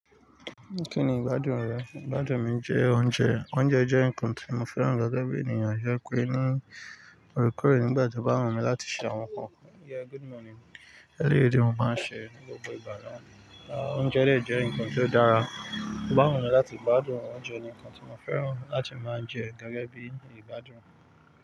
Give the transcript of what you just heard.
Kí ni ìgbádùn rẹ? Ìgbádùn mi jẹ́ oúnjẹ. Oúnjẹ jẹ́ nǹkan tí mo fẹ́ràn gẹ́gẹ́ bí ènìyàn ṣe pé ní orekoore nígbà tí o bá wu mi láti ṣe àwọn kan. Yeah good morning. Lẹ́yìn eyi mo máa ń ṣe ní gbogbo ìgbà náà. Oúnjẹ dẹ̀ jẹ́ nǹkan tó dára. Wu mi láti ìgbádùn oúnjẹ ni nǹkan tí mo fẹ́ràn láti máa ń jẹ gẹ́gẹ́ bí ìgbádùn.